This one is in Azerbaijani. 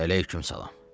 Əleyküm salam.